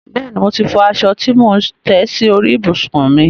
Bẹ́ẹ̀ni, mo ti fọ aṣọ tí mò ń tẹ́ sórí ìbùsùn mi.